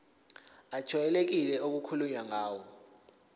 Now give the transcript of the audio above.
ejwayelekile okukhulunywe ngayo